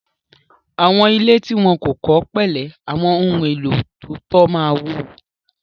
Àwọn ilé tí wọ́n kò kọ́ pẹ̀lẹ́ àwọn ohun-èlò tó tọ́ ma wó.